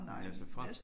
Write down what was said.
Ja altså frem